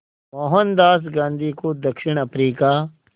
मोहनदास गांधी को दक्षिण अफ्रीका